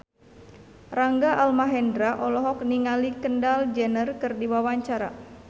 Rangga Almahendra olohok ningali Kendall Jenner keur diwawancara